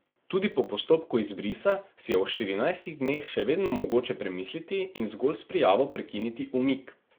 Tudi po postopku izbrisa si je v štirinajstih dneh še vedno mogoče premisliti in zgolj s prijavo prekiniti umik.